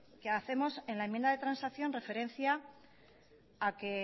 que hacemos en la enmienda de transacción referencia a que